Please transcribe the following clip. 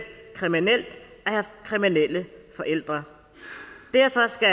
kriminelt at have kriminelle forældre derfor skal